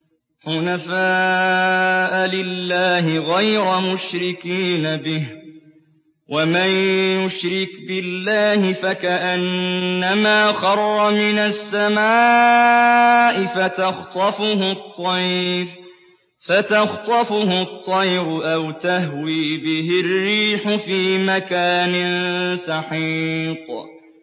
حُنَفَاءَ لِلَّهِ غَيْرَ مُشْرِكِينَ بِهِ ۚ وَمَن يُشْرِكْ بِاللَّهِ فَكَأَنَّمَا خَرَّ مِنَ السَّمَاءِ فَتَخْطَفُهُ الطَّيْرُ أَوْ تَهْوِي بِهِ الرِّيحُ فِي مَكَانٍ سَحِيقٍ